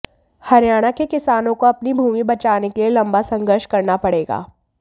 हरियाणा के किसानों को अपनी भूमि बचाने के लिए लम्बा संघर्ष करना पड़ेगा